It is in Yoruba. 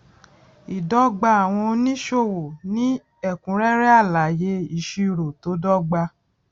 ìdọgba àwọn oníṣòwò ní ẹkúnrẹrẹ alaye ìṣirò tó dọgba